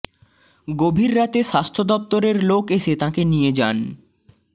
গভীর রাতে স্বাস্থ্য দফতরের লোক এসে তাঁকে নিয়ে যান